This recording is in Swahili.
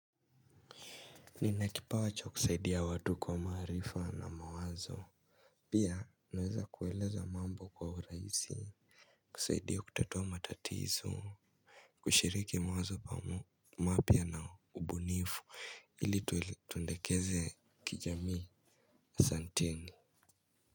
Ninakipa wa cha kusaidia watu kwa maharifa na mawazo. Pia naweza kuweleza mambo kwa uraizi. Kusaidia kutatua matatizo. Kushiriki mawazo pa mapia na ubunifu. Hili tundekeze kijamii. Santeni.